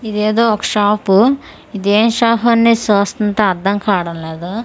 ఇదేదో ఒక షాపు ఇదేం షాఫ్ అని సూస్తుంటే అర్ధంకావడం లేదు .]